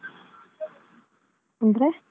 ಅಂದ್ರೆ?